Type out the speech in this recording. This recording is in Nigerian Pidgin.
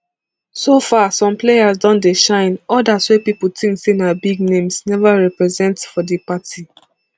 so far some players don dey shine odas wey pipo tink say na big names neva represent for di party